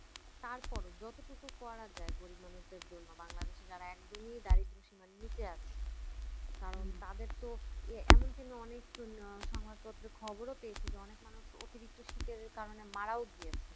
তারপরও যতটুকু করা যায় গরিব মানুষদের জন্য বাংলাদেশে যারা একদমই দারিদ্র সীমার নিচে আছে কারণ তাদের তো এ এমন অনেক সংবাদপত্রে আহ খবরও পেয়েছিল অনেক মানুষ অতিরিক্ত শীতের কারণে মারাও গিয়েছে